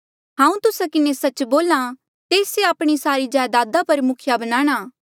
हांऊँ तुस्सा किन्हें सच्च बोल्हा तेस से आपणी सारी जायदादा पर मुखिया बनाणा